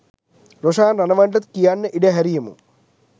රොෂාන් රණවනට කියන්න ඉඩ හැරියෙමු.